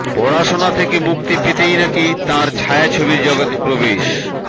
পড়াশোনা থেকে মুক্তি পেতেই নাকি তাঁর ছায়াছবির জগতে প্রবেশ